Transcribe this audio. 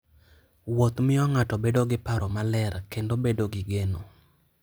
Wuoth miyo ng'ato bedo gi paro maler kendo bedo gi geno.